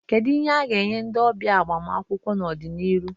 Kedu ihe a ga-enye ndị ọbịa agbamakwụkwọ n'ọdịnihu?